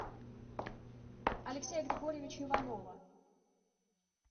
алексея григорьевича иванова